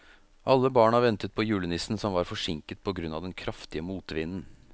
Alle barna ventet på julenissen, som var forsinket på grunn av den kraftige motvinden.